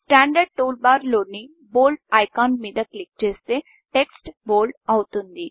standard tool బార్లోని Boldబోల్డ్ఐకాన్ మీద క్లిక్ చేస్తే టెక్ట్స్ బోల్డ్ అవుతుంది